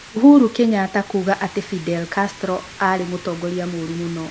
Uhru Kenyatta kuuga atĩ Fidel Castro aarĩ "mũtongoria mũũru mũno"